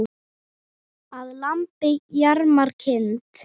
Að lambi jarmar kind.